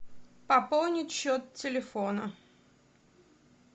пополнить счет телефона